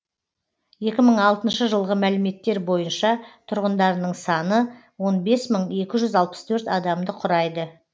екі мың алтыншы жылғы мәліметтер бойынша тұрғындарының саны он бес мың екі жүз алпыс төрт адамды құрайды